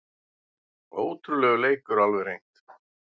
Ótrúlegur leikur alveg hreint